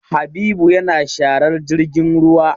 Habibu yana sharar jirgin ruwa.